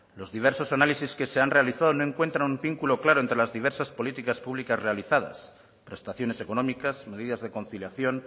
los diversos análisis que se han realizado no encuentran un vínculo claro entre las diversas políticas públicas realizadas prestaciones económicas medidas de conciliación